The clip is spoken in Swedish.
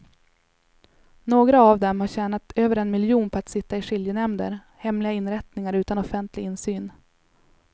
Några av dem har tjänat över en miljon på att sitta i skiljenämnder, hemliga inrättningar utan offentlig insyn.